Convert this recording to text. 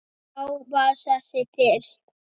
Þá varð þessi til.